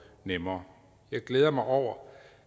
nemmere jeg glæder mig over